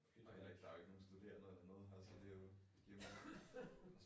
Der jo ikkke nogen studerende eller noget her så det jo giver jo mening